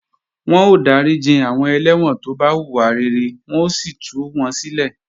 Wọ́n ó dáríji àwọn ẹlẹ́wọ̀n tó bá hùwà rere wọ́n ó sì tú wọn sílẹ̀